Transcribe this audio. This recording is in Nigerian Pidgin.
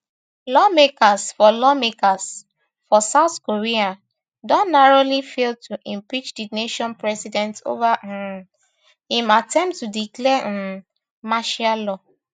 lawmakers for lawmakers for south korea don narrowly fail to impeach di nation president over um im attempt to declare um martial law